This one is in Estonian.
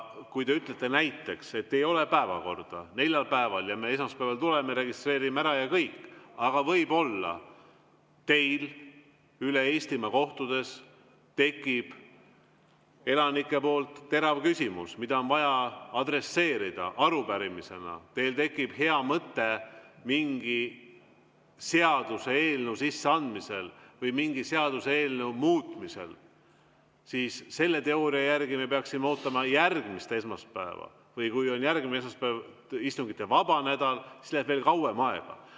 Kui te ütlete näiteks, et päevakorda ei ole neljal päeval ja me esmaspäeval tuleme ja registreerime ära ja kõik, siis võib-olla teile Eestimaal kohtudes esitatakse elanike poolt terav küsimus, mida on vaja adresseerida arupärimisena, teil tekib hea mõte mingi seaduseelnõu sisseandmiseks või mingi seaduseelnõu muutmiseks, aga selle teooria järgi me peaksime ootama järgmist esmaspäeva, või kui järgmine esmaspäev on istungivabal nädalal, siis läheb veel kauem aega.